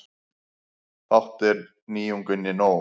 Fátt er nýjunginni nóg.